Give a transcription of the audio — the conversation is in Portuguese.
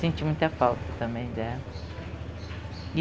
Senti muita falta também dela.